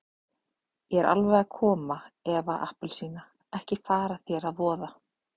Ég er alveg að koma Eva appelsína, ekki fara þér að voða.